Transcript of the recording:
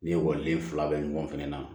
Ni ekɔliden fila bɛ ɲɔgɔn fɛnɛ na